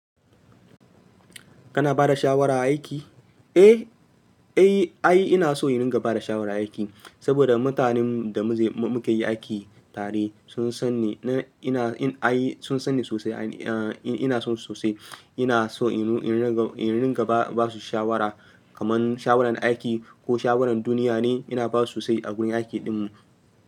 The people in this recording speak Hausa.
Kana ba da shawara a aiki? Eh, ai ina so ina ringa ba da shawara a aiki saboda mutanen da muke yi aiki tare sun san ni. Ina, ai sun san ni sosai. Ina son su sosai. Ina so in ringa ba su shawara kamar shawarar aiki ko shawarar duniya ne. Ina ba su sosai a wurin aiki ɗinmu.